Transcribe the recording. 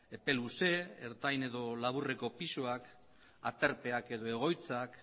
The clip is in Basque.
epe luze ertain edo laburreko pisuak aterpeak edo egoitzak